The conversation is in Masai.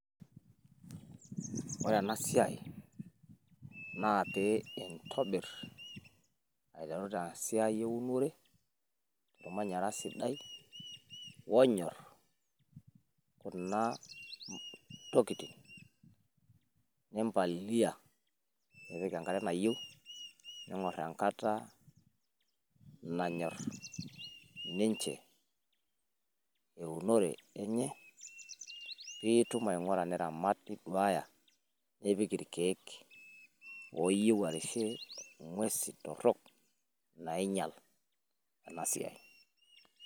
Ore ena siaai naa pee intobirr aiteru te esiai eunore ormanyarra sidai onyorr kuna tokitin, nimpalilia nipik enkare nayieu niing'orr enkata nanyorr ninche eunore enye pii itum aing'ura niramat niduaaya nipik irkeek ooyieu arishie ng'uesi torrok nainyial ena siai.